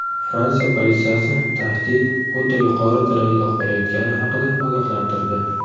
Fransiya politsiyasi tahdid o‘ta yuqori darajada qolayotgani haqida ogohlantirdi.